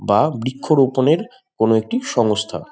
বা বৃক্ষরোপনের কোন একটি সংস্থা।